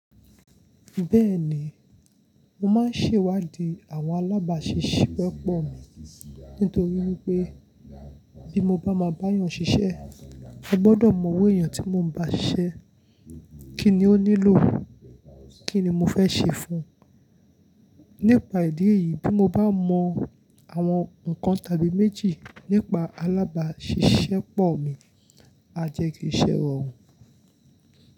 Bẹ́ẹ̀ni, mo máa ń ṣèwádìí àwọn alábàáṣiṣẹ́pọ̀ mi nítorí wípé bí mo bá ma bá yàn ṣiṣẹ́, mo gbọ́dọ̀ mọ owó èèyàn tí mo ń bá ṣiṣẹ́, kí ni ó nílò, kí ni mo fẹ́ ṣe fún un. Nípa ìdí èyí, bí mo bá mọ àwọn nǹkan tàbí méjì nípa alábàáṣiṣẹ́pọ̀ mi, a jẹ́ kí iṣẹ́ rọrùn.